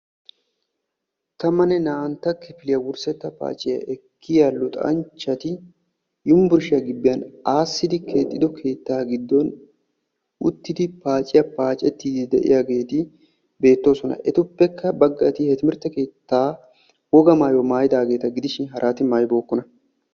Tammanne naa"antta kifiliya wurssetta paaciya ekkiya luxanchchati yumburshiya gibbiyan aassidi keexxido keettaa giddon uttidi paaciya paacettiidde de'iyageeti beettoosona. Etuppekka baggati he timirtte keettaa wogaa mayuwa maayidaageeta gidishin harati mayibookkona.